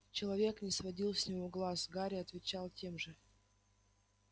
человечек не сводил с него глаз гарри отвечал тем же